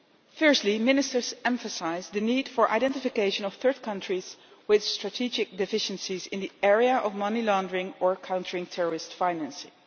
Firstly, ministers emphasised the need for the identification of third countries with strategic deficiencies in the area of money laundering or countering terrorist financing.